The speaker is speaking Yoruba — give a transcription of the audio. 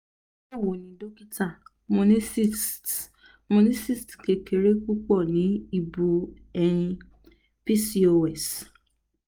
bawoni dokita mo ni cysts mo ni cysts kekere pupo ni ibu eyin pcos [